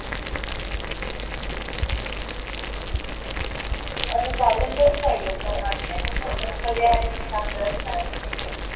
garden best राहील मला वाटतंय पण सगळे arrangement आपल्याला करावे लागेल